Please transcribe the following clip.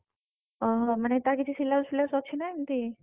ଓ ହୋ ତାର ମାନେ କିଛି syllabus ଫିଲାବସ୍ ଅଛି ନା ଏମିତି?